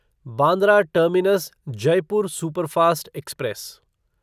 Bandra terminus Jaipur superfast express